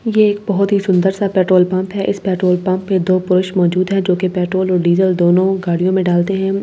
ये एक बहुत ही सुंदर सा पेट्रोल पंप है इस पेट्रोल पंप पे दो पुरूष मौजूद है जो पेट्रोल और डीजल दोनों गाडि़यों में डालते है और गाड़ी--